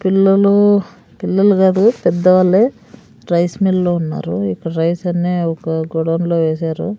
పిల్లలు పిల్లలు కాదు పెద్ద వాళ్ళే రైస్ మిల్లో ఉన్నారు ఇక్కడ్ రైస్ అన్నీ ఒక గోడౌన్లో వేశారు.